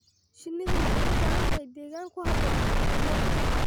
Shinnidu waxay u baahan tahay deegaan ku habboon oo ammaan ah.